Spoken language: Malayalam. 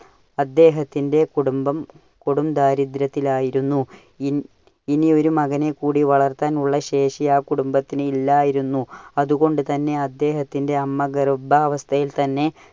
അദ്ദേഹത്തിന്റെ കുടുബം കൊടും ദാരിദ്ര്യത്തിലായിരുന്നു. ഇൻ~ ഇനി ഒരു മകനെ കൂടി വളർത്താൻ ഉള്ള ശേഷി ആ കുടുംബത്തിന് ഇല്ലായിരുന്നു. അതുകൊണ്ടു തന്നെ അദ്ദേഹത്തിന്റെ അമ്മ ഗർഭാവസ്ഥയിൽ തന്നെ